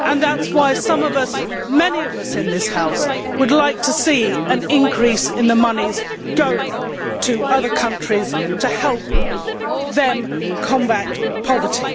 and that is why many of us in this House would like to see an increase in the monies going to other countries to help them combat poverty.